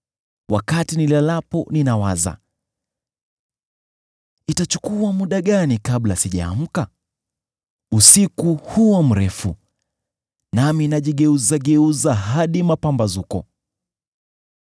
Wakati nilalapo ninawaza, ‘Itachukua muda gani kabla sijaamka?’ Usiku huwa mrefu, nami najigeuzageuza hadi mapambazuko.